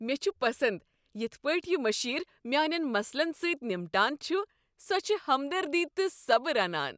مےٚ چھ پسند یتھ پٲٹھۍ یہ مشیر میانین مسلن سۭتۍ نمٹان چھ۔ سۄ چھےٚ ہمدردی تہٕ صبر انان۔